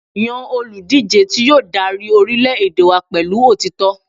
Yan oludije ti yoo dari orilẹ-ede wa pẹlu otitọ